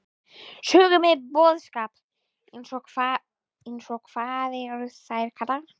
Sögu með boðskap: eins og- hvað eru þær kallaðar?